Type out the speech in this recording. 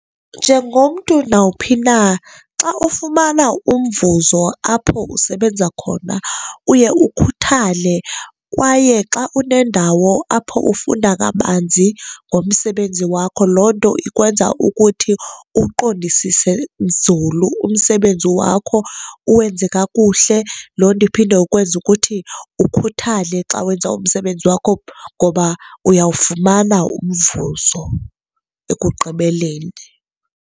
Njengomntu nawuphi na, xa ufumana umvuzo apho usebenza khona uye ukhuthale kwaye xa unendawo apho ufunda kabanzi ngomsebenzi wakho loo nto ikwenza ukuthi uwuqondisise nzulu umsebenzi wakho, uwenze kakuhle. Loo nto iphinde ikwenze ukuthi ukhuthale xa wenza umsebenzi wakho ngoba uyawufumana umvuzo ekugqibeleni.